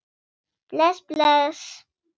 Bless, bless.